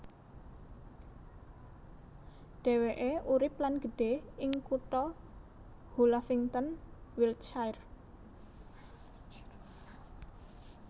Dhéwéké urip lan gedhe ing kutha Hullavington Wiltshire